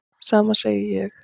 Sama segi ég.